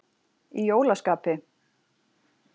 Í jólaskapi.